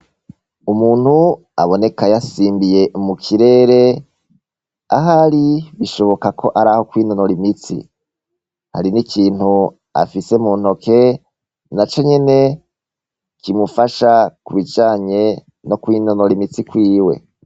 Umuntu aboneka yasimbiye mu kirere, ahari bishoboka ko araho kwinonora imitsi . Hari n' ikintu afise mu ntoke naco nyene kimufasha ku bijanye no kwinonora imitsi kwiwe.